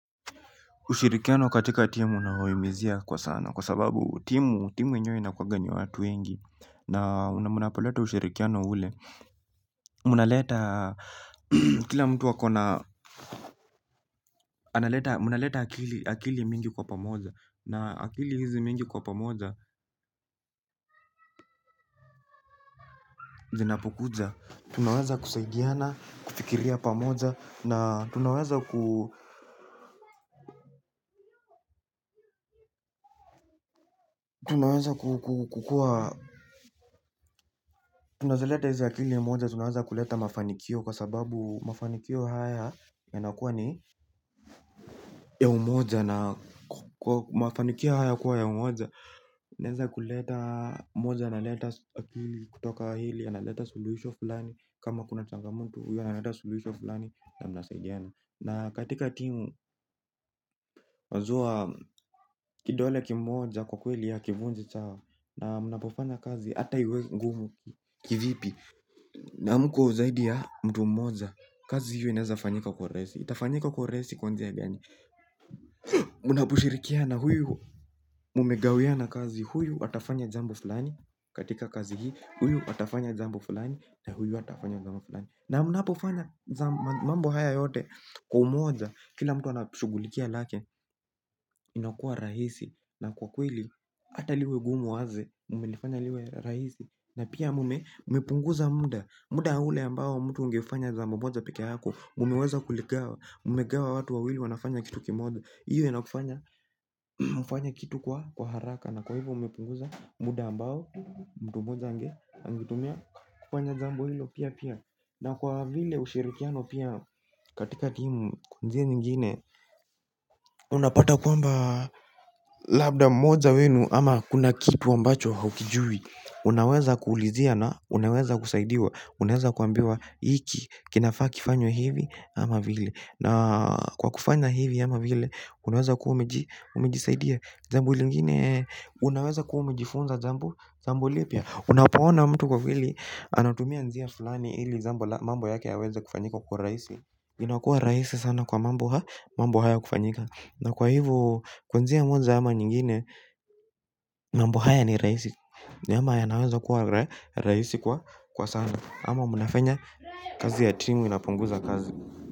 Ushirikiano katika timu unawahimizia kwa sana kwa sababu timu yenyewe inakuwaga ni yawatu wengi na mnapoleta ushirikiano ule. Mnaleta kila mtu wako na analeta akili mingi kwa pamoja na akili hizi mingi kwa pamoja. Zinapokuja, tunaweza kusaidiana, kufikiria pamoja na tunaweza kukua. Tunazaleta hizi akili mingi mingi kwa sababu mafanikio haya. Yanakuwa ni ya umoja na mafanikio haya kuwa ya umoja uneza kuleta, moja na leta hili kutoka hili analeta soluhisho fulani. Kama kuna changamoto. Uyo analeta soluhisho fulani. Na mnasaidiana na katika timu haswa kidole kimoja kwa kweli hakivunji chawa. Na mnapofanya kazi hata iwe nguvu kivipi. Na mko zaidi ya mtu mmoja. Kazi hiyo inazafanyika kwa urahisi. Itafanyika kwa urahisi kwa njia gani. Mnaposhirikiana huyu. Mumegawiana kazi. Huyu atafanya jambo fulani katika kazi hii, huyu atafanya jambo fulani na huyu atafanya jambo fulani na mnapofanya mambo haya yote kwa umoja. Kila mtu anashugulikia lake inakua rahisi na kwa kweli hata liwe gumu aje umelifanya liwe rahisi na pia mmepunguza muda. Muda ule ambao mtu ungefanya jambo moja pekeako. Mmeweza kuligawa mme gawa watu wawili wanafanya kitu kimoja. Iyo inakufanya. Mfanye kitu kwa haraka na kwa hivyo umepunguza muda ambao mtu moja ange tumiaa kufanya jambo hilo pia pia na kwa vile ushirikiano pia katika timu kwa njia nyingine. Unapata kwamba labda mmoja wenu ama kuna kitu ambacho Hukijui. Unaweza kuulizia na unaweza kusaidiwa. Unaweza kuambiwa hiki kinafaa kifanywe hivi ama hivu na kwa kufanya hivi ama vile. Unaweza kuwa umejisaidia jambo lilingine unaweza kuwa umijifunza jambo jambo lilipya. Unapaona mtu kwa kweli. Anatumia njia fulani ili jambu mambo yake yaweza kufanyika kwa urahisi. Inakuwa rahisi sana kwa mambo ha mambo haya kufanyika na kwa hivo kwa njia moja ama nyingine. Mambo haya ni raihsi. Ni ama ya naweza kuwa rahisi kwa sana. Ama mnafanya kazi ya trimu inapunguza kazi.